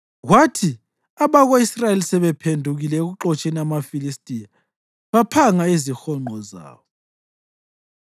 Kwathi abako-Israyeli sebephendukile ekuxotsheni amaFilistiya, baphanga izihonqo zawo.